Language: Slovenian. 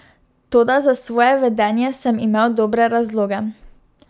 Toda za svoje vedenje sem imel dobre razloge.